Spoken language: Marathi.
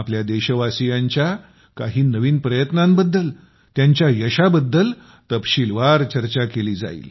आपल्या देशवासीयांच्या काही नवीन प्रयत्नांबद्दल त्यांच्या यशाबद्दल तपशीलवार चर्चा केली जाईल